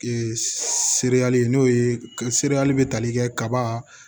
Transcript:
seereyali n'o ye seereyali be tali kɛ kaba